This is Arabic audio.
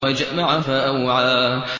وَجَمَعَ فَأَوْعَىٰ